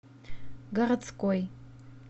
городской